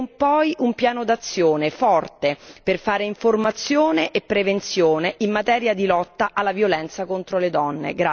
Chiediamo poi un piano d'azione forte, per fare informazione e prevenzione in materia di lotta alla violenza contro le donne.